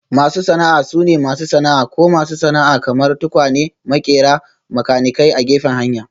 Masu sana'a sune masu sana'a ko masu sana'a kamar; tukwane, maƙera, makanikai a gefen hanya